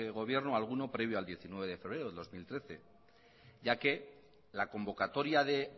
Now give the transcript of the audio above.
gobierno alguno previo al diecinueve de febrero del dos mil trece ya que la convocatoria de